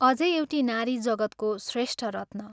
अझै एउटी नारी जगत्को श्रेष्ठ रत्न।